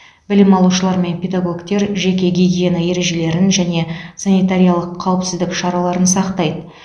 білім алушылар мен педагогтер жеке гигиена ережелерін және санитариялық қауіпсіздік шараларын сақтайды